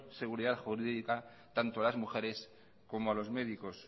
seguridad jurídica tanto a las mujeres como a los médicos